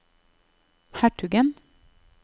hertugen